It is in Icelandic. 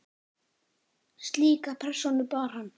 Slíka persónu bar hann.